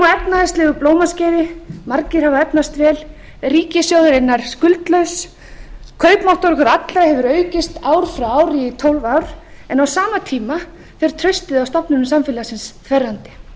á efnahagslegu blómaskeiði margir hafa efnast vel ríkissjóður er nær skuldlaus kaupmáttur okkar allra hefur aukist ár frá ári í tólf ár en á sama tíma fer traustið á stofnanir samfélagsins þverrandi við eigum